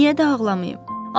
Niyə də ağlamayım?